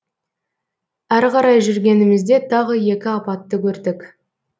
әрі қарай жүргенімізде тағы екі апатты көрдік